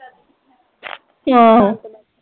ਆਹੋ